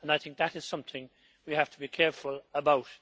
I think that is something we have to be careful about.